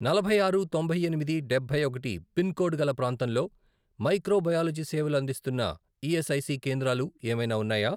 నలభై ఆరు, తొంభై ఎనిమిది, డబ్బై ఒకటి పిన్ కోడ్ గల ప్రాంతంలో మైక్రో బయాలజీ సేవలు అందిస్తున్న ఈఎస్ఐసి కేంద్రాలు ఏమైనా ఉన్నాయా?